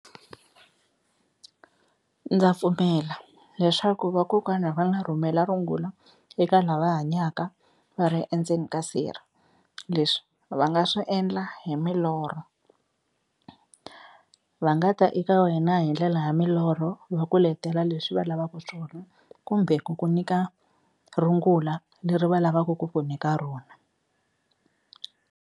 Ndza pfumela leswaku vakokwana va nga rhumela rungula eka lava hanyaka va ri endzeni ka sirha, leswi va nga swi endla hi milorho, va nga ta eka wena hi ndlela ya milorho va ku letela leswi va lavaka swona kumbe ku ku nyika rungula leri va lavaku ku ku nyika rona.